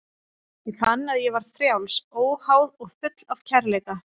Ég fann að ég var frjáls, óháð og full af kærleika.